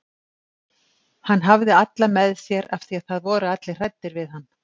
Hann hafði alla með sér af því að það voru allir hræddir við hann.